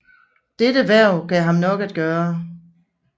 Dette hverv gav ham nok at gøre